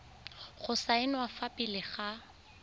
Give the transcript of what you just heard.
go saenwa fa pele ga